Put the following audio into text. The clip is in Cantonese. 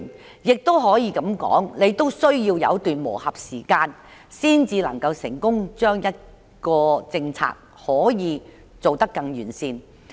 當然，每項新政策都需要一段磨合期，才可以成功做得完善。